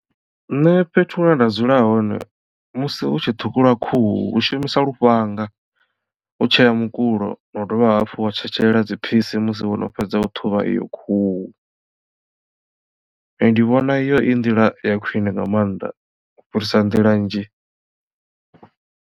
Nṋe fhethu hune nda dzula hone musi hu tshi ṱhukhuliwa khuhu hu shumiswa lufhanga u tshea mukulo na u dovha hafhu wa tshetshelela dziphisi musi wono fhedza u ṱhuvha iyo khuhu nṋe ndi vhona iyo i nḓila ya khwine nga maanḓa u fhirisa nḓila nnzhi.